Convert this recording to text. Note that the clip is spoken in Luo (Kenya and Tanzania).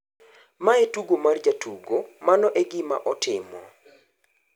"""Mae e tugo mar jotugo, mano e gima otimo."""